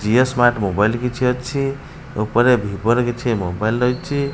Jio smart mobile କିଛି ଅଛି ଉପରେ ଭିଭୋ ର କିଛି ମୋବାଇଲ ରହିଚି।